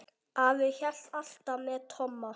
Afi hélt alltaf með Tomma.